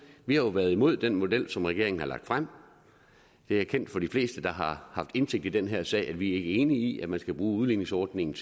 vi har jo været imod den model som regeringen har lagt frem det er kendt for de fleste der har indsigt i den her sag at vi ikke er enige i at man skal bruge udligningsordningen